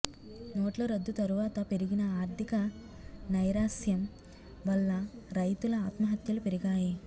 నోట్ల రద్దు తరువాత పెరిగిన ఆర్థిక నైరాశ్యం వల్ల రైతుల ఆత్మహత్యలు పెరిగాయి